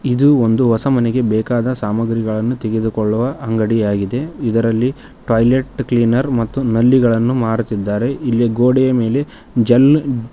ಇದು ಒಂದು ಹೊಸ ಮನೆಗೆ ಬೇಕಾದ ಸಾಮಗ್ರಿಗಳನ್ನು ತೆಗೆದುಕೊಳ್ಳುವ ಅಂಗಡಿಯಾಗಿದೆ ಇದರಲ್ಲಿ ಟಾಯ್ಲೆಟ್ ಕ್ಲೀನರ್ ಮತ್ತು ನಲ್ಲಿಗಳನ್ನು ಮಾಡುತ್ತಿದ್ದಾರೆ ಇಲ್ಲಿ ಗೋಡೆಯ ಮೇಲೆ ಜಲ್ --